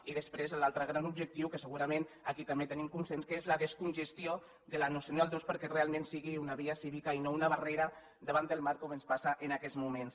i després l’altre gran objectiu que segurament aquí també tenim consens que és la descongestió de la nacional ii perquè realment sigui una via cívica i no una barrera davant del mar com ens passa en aquests moments